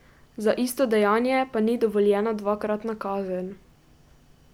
Za isto dejanje pa ni dovoljena dvakratna kazen.